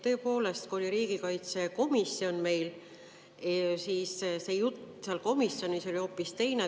Tõepoolest, kui oli riigikaitsekomisjon meil, siis oli jutt seal komisjonis hoopis teine.